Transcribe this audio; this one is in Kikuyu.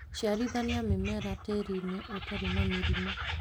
Ciarithania mĩmera tĩĩrinĩ ũtarĩ na mĩrimũ